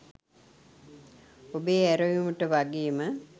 ඔබේ ඇරයුමට වගේම